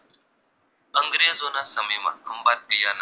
પૂર્વજો ના સમય માં ખંભાત ક્યાં ના